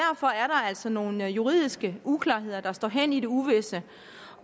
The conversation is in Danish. altså nogle juridiske uklarheder der står hen i det uvisse